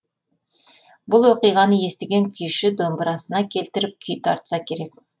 бұл оқиғаны естіген күйші домбырасына келтіріп күй тартса керек